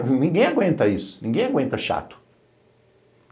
Ninguém aguenta isso, ninguém aguenta chato.